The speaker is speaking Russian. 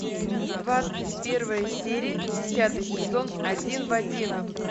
двадцать первая серия десятый сезон один в один